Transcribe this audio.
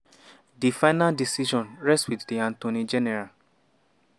di final decision rest wit di attorney general.